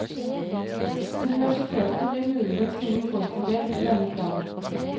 Universitetet blir muligens noe forfordelt ved denne planen.